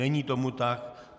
Není tomu tak.